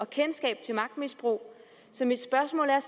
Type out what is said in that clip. kendskab til magtmisbrug så mit spørgsmål er